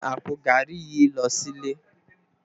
Mó n gbé àpó gàrí yi lò silé